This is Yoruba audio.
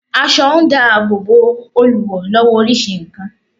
Aso n da ààbò Bo Olùwò lowo orisi nkan